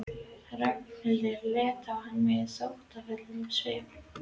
Ragnhildur leit á hann með þóttafullum svip.